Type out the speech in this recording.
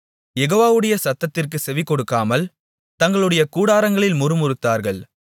யெகோவாவுடைய சத்தத்திற்குச் செவிகொடுக்காமல் தங்களுடைய கூடாரங்களில் முறுமுறுத்தார்கள்